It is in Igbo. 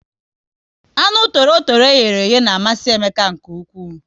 Anụ torotoro eyere iye na amasị Emeka nke ụkwụ